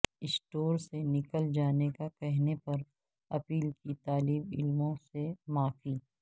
store سے نکل جانے کا کہنے پر ایپل کی طالب علموں سے معافی